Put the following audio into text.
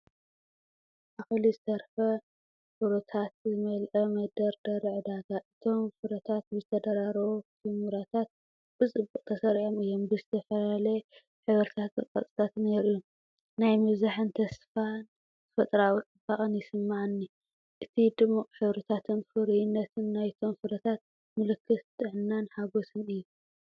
ኣኺሉ ዝተረፈ ፍሩታታት ዝመልአ መደርደሪ ዕዳጋ። እቶም ፍረታት ብዝተደራረቡ ኵምራታት ብጽቡቕ ተሰሪዖም እዮም፣ ዝተፈላለየ ሕብርታትን ቅርጽታትን የርእዩ። ናይ ምብዛሕን ተስፋን ተፈጥሮኣዊ ጽባቐን ይስምዓኒ። እቲ ድሙቕ ሕብርታትን ፍሩይነትን ናይቶም ፍረታት ምልክት ጥዕናን ሓጐስን እዩ።